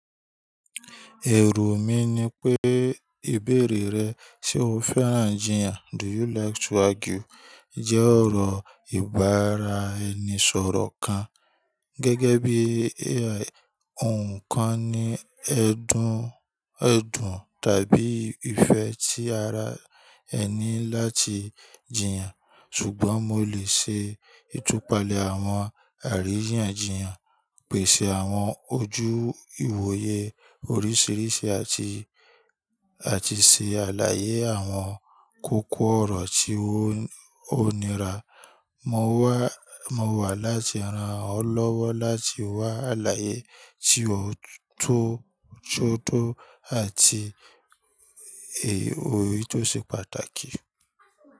Ẹro mí ní pé ìbéèrè rẹ "Ṣé o fẹ́ràn jìyàn? Jẹ́ ọ̀rọ̀ ìbára-ẹni-sọ̀rọ̀ kan, gẹ́gẹ́ bí i òǹkàn ní ẹ̀dùn tàbí ìfẹ́ tí ara ẹni láti jìyàn. Ṣùgbọ́n mo lè ṣe ìtúpalẹ̀ àwọn àríyànjiyàn, pèsè àwọn ojú ìwòye oríṣiríṣi àti ṣe àlàyé àwọn kókó-ọ̀rọ̀ tí ó nira. Mo wà láti ran ọ́ lọ́wọ́ láti wá àlàyé tí ó tó àti èyí tó ṣe pàtàkì.